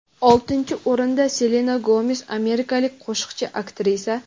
Oltinchi o‘rinda Selena Gomes – amerikalik qo‘shiqchi, aktrisa.